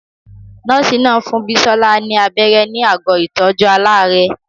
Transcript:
Nọ́ọ̀sì náà fún Bisola ní abẹ́rẹ́ ní àgọ́ ìtọ́jú aláàárẹ̀.